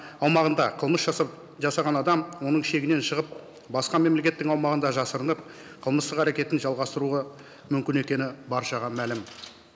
аумағында қылмыс жасап жасаған адам оның шегінен шығып басқа мемлекеттің аумағында жасырынып қылмыстық әрекетін жалғастыруға мүмкін екені баршаға мәлім